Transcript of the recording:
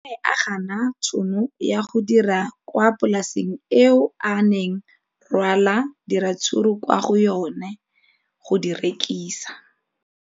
O ne a gana tšhono ya go dira kwa polaseng eo a neng rwala diratsuru kwa go yona go di rekisa.